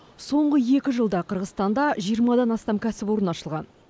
соңғы екі жылда қырғызстанда жиырмадан астам кәсіпорын ашылған